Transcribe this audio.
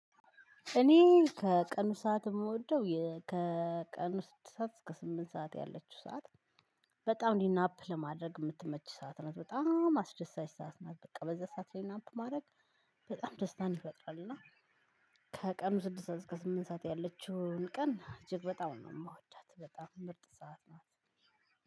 እኔ ከቀኑ ሰዓት የምወደው የ ከቀኑ ስድስት ሰዓት እስከ ስምንት ሰዓት ያለችው ሰዓት በጣም እንዲህ ናፕ ለማድረግ የምትመች ሰዓት ናት በጣም አስደሳች ሰዓት ናት። በቃ በዛ ሰዓት ላይ ናፕ ማድረግ በጣም ደስታን ይፈጥራል። እና ከቀኑ ስድስት እስከ ስምንት ሰዓት ያለችውን ቀን እጅግ በጣም ነው የምወዳት በጣም ምርጥ ሰዓት ናት።